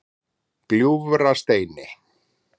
Gljúfrasteini